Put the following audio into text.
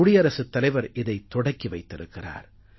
குடியரசுத் தலைவர் இதைத் தொடக்கி வைத்திருக்கிறார்